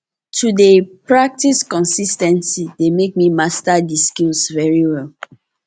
to de practice consis ten tly de make me master di skills very well